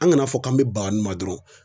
An ka na fɔ k'an be baga nunnu ma dɔrɔn